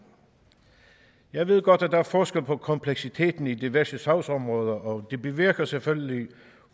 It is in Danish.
jeg ved godt at der er forskel på kompleksiteten i diverse sagsområder og det bevirker selvfølgelig